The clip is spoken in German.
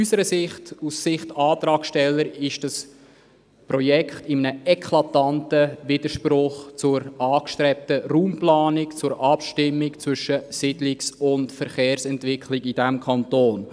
Aus Sicht der Antragsteller steht dieses Projekt in einem eklatanten Widerspruch zur angestrebten Raumplanung, zur Abstimmung zwischen Siedlungs- und Verkehrsentwicklung in diesem Kanton.